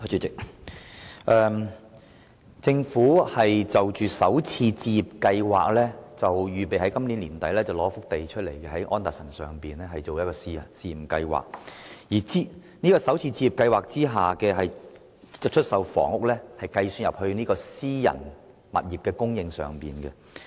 關於首次置業計劃，政府預備在今年年底撥出土地，在安達臣道推行試驗計劃，而在首次置業計劃下出售的房屋，將計入私人住宅物業的供應量。